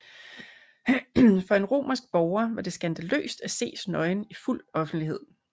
For en romersk borger var det skandaløst at ses nøgen i fuld offentlighed